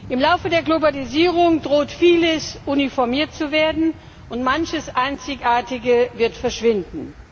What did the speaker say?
Im Laufe der Globalisierung droht vieles uniformiert zu werden und manches Einzigartige wird verschwinden.